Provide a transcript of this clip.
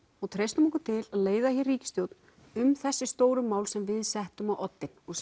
og treystum okkur til leiða hér ríkisstjórn um þessi stóru mál sem við settum á oddin og